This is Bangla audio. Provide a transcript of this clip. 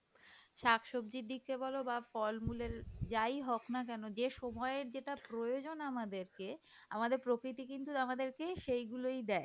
বাহঃ অ্যাঁ শাক সবজির দিকে বলো বাহঃ ফলমূলের যাই হোক না কেন যে সময় যেটা প্রয়োজন আমাদেরকে আমাদের প্রকৃতি কিন্তু আমাদের কে সেগুলোই দেয়